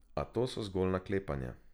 A to so zgolj naklepanja.